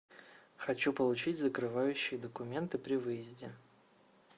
хочу получить закрывающие документы при выезде